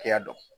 Hakɛya dɔ